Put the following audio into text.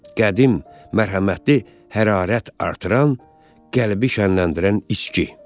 Qədim, mərhəmətli, hərarət artıran, qəlbi şənləndirən içki.